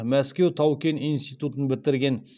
мәскеу тау кен институтын бітірген